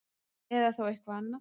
Eða þá eitthvað annað.